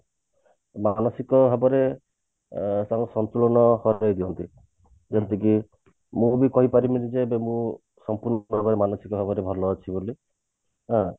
ମାନସିକ ଭାବରେ ଅ ତାଙ୍କ ସନ୍ତୁଳନ ହରେଇ ଦିଅନ୍ତି ଯେମତି କି ମୁଁ ବି କହିପାରିବିନି ଏବେ ମୁଁ ସମ୍ପୂର୍ଣ ଭାବରେ ମାନସିକ ଭାବେ ଭଲ ଅଛି ବୋଲି ହଁ